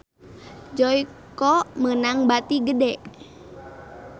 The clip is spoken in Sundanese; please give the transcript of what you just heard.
Joyko meunang bati gede